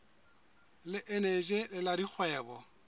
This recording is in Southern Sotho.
le eneji le la dikgwebo